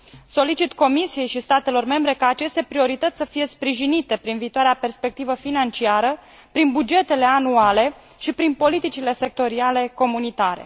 Solicit Comisiei și statelor membre ca aceste priorități să fie sprijinite prin viitoarea perspectivă financiară, prin bugetele anuale și prin politicile sectoriale comunitare.